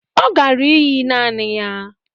Ọ gara íyí naanị ya